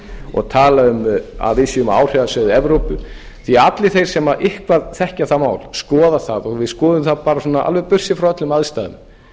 og tala um að við séum á áhrifasvæði evrópu því að allir þeir sem eitthvað þekkja það mál skoða það og við skoðum það bara alveg burtséð frá öllum aðstæðum